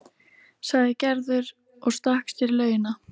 sagði Gerður og stakk sér í laugina.